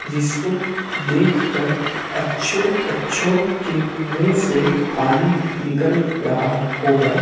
जिसको देखकर अच्छों अच्छों के मुंह से पानी निकल रहा होगा।